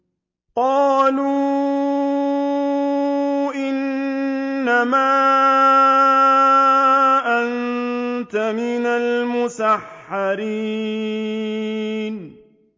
قَالُوا إِنَّمَا أَنتَ مِنَ الْمُسَحَّرِينَ